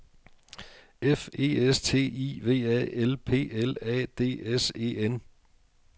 F E S T I V A L P L A D S E N